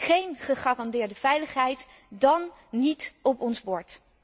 Géén gegarandeerde veiligheid, dan niet op ons bord.